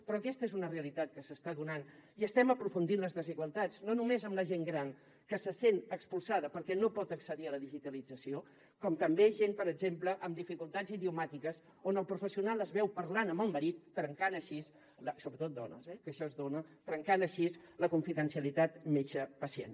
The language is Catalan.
però aquesta és una realitat que s’està donant i estem aprofundint les desigualtats no només en la gent gran que se sent expulsada perquè no pot accedir a la digitalització sinó també en gent per exemple amb dificultats idiomàtiques on el professional es veu parlant amb el marit sobretot dones eh que això es dona trencant així la confidencialitat metge pacient